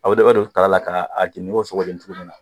A bɛ don kala la k'a jeni i ko sogo bɛ jeni cogo min na